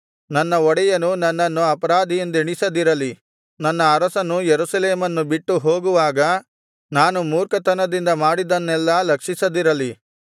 ನನ್ನ ಒಡೆಯನು ನನ್ನನ್ನು ಅಪರಾಧಿಯೆಂದೆಣಿಸದಿರಲಿ ನನ್ನ ಅರಸನು ಯೆರೂಸಲೇಮನ್ನು ಬಿಟ್ಟು ಹೋಗುವಾಗ ನಾನು ಮೂರ್ಖತನದಿಂದ ಮಾಡಿದ್ದನ್ನೆಲ್ಲಾ ಲಕ್ಷಿಸದಿರಲಿ